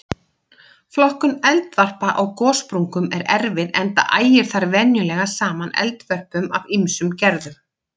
Flokkun eldvarpa á gossprungum er erfið enda ægir þar venjulega saman eldvörpum af ýmsum gerðum.